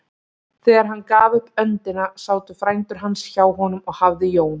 Þegar hann gaf upp öndina sátu frændur hans hjá honum og hafði Jón